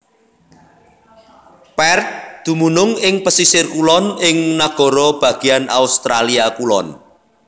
Perth dumunung ing pesisir kulon ing Nagara Bagéan Australia Kulon